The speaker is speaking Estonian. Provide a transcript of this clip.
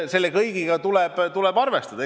Selle kõigega tuleb arvestada.